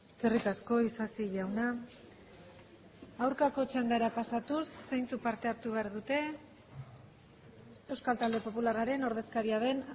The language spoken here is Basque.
eskerrik asko isasi jauna aurkako txandara pasatuz zeintzuk parte hartu behar dute euskal talde popularraren ordezkaria den